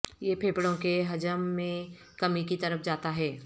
یہ پھیپھڑوں کے حجم میں کمی کی طرف جاتا ہے